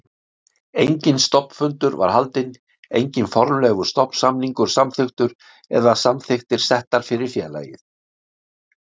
Enginn stofnfundur var haldinn, enginn formlegur stofnsamningur samþykktur eða samþykktir settar fyrir félagið.